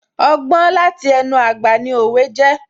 Ọgbọ́n láti ẹnu àgbà ni òwe jẹ́